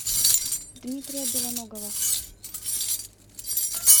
дмитрия белоногова